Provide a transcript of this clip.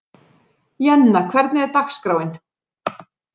Jenna, hvernig er dagskráin?